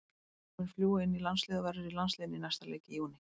Hann mun fljúga inn í landsliðið og verður í landsliðinu í næsta leik í júní.